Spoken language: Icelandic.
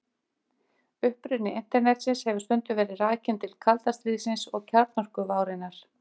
uppruni internetsins hefur stundum verið rakinn til kalda stríðsins og kjarnorkuvárinnar